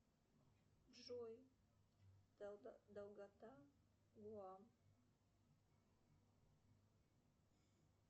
джой долгота гоа